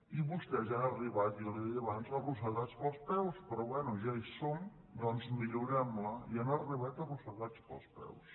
i vostès hi han arribat ja li ho deia abans arrossegats pels peus però bé ja hi som doncs millorem la hi han arribat arrossegats pels peus